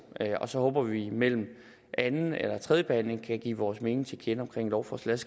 og så håber vi at vi mellem anden og tredje behandling kan give vores mening om lovforslaget